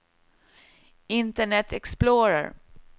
internet explorer